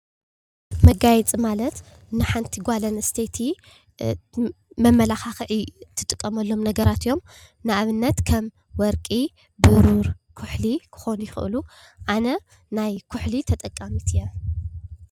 መጋየፂ ማለት ንሓንቲ ጓል ኣንስተይቲ መማላካክዒ ትጥቀመሎም ነገራት እዮም፡፡ ንኣብነት ከም ወርቂ፣ ብሩር፣ ኩሕሊ ክኮኑ ይክእሉ ኣነ ናይ ኩሕሊ ተጠቃሚት እየ፡፡